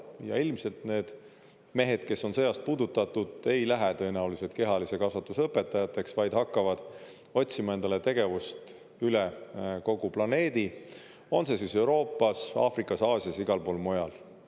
Ja ilmselt need mehed, kes on sõjast puudutatud, ei lähe tõenäoliselt kehalise kasvatuse õpetajateks, vaid hakkavad otsima endale tegevust üle kogu planeedi – on see siis Euroopas, Aafrikas, Aasias, igal pool mujal.